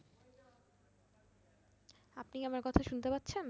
আপনি আমার কথা শুনতে পারছেন?